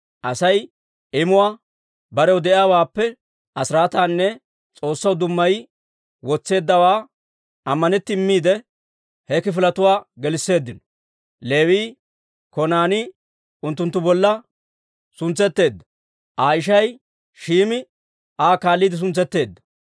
Asay imuwaa, barew de'iyaawaappe asiraataanne S'oossaw dummayi wotseeddawaa ammanetti immiide, he kifiletuwaa gelisseeddino. Leewii Konaanii unttunttu bolla suntsetteedda; Aa ishay Shim"i Aa kaalliide suntsetteedda.